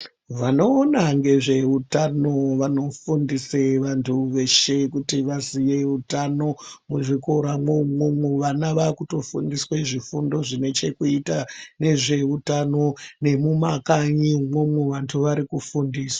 Vanoona ngezveutano vanofundise vantu veshe kuti vazive utano muzvikoramwo umwomwo vana vakutofundiswa zvifundo zvinechekuyita nezveutano nemumakanyi imwomwo vantu vari kufundiswa.